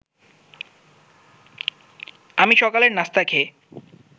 আমি সকালের নাস্তা খেয়ে